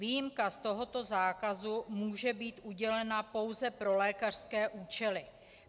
Výjimka z tohoto zákazu může být udělena pouze pro lékařské účely.